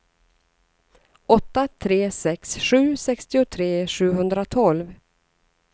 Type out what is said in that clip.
åtta tre sex sju sextiotre sjuhundratolv